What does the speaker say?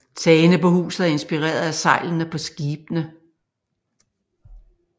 Tagene på huset er inspireret af sejlene på skibene